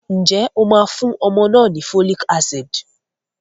Ǹjẹ́ o máa fún ọmọ náà ni folic acid?